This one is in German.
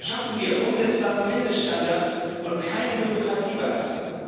Schaffen wir umsetzbare Mindeststandards und keinen Bürokratieballast!